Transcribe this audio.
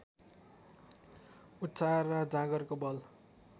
उत्साह र जाँगरको बल